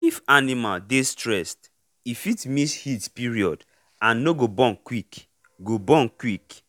if animal dey stressed e fit miss heat period and no go born quick. go born quick.